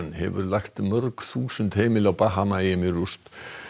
hefur lagt mörg þúsund heimili á Bahamaeyjum í rúst